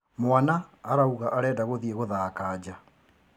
Mwana arauga arenda gũthiĩ gũthaka nja.